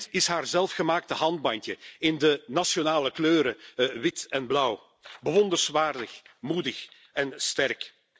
Dit is haar zelfgemaakte armbandje in de nationale kleuren, wit en blauw. Bewonderenswaardig, moedig en sterk.